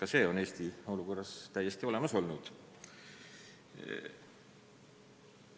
Eestis on selline olukord täiesti tekkinud.